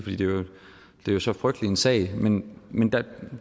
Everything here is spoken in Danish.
er jo så frygtelig en sag men men der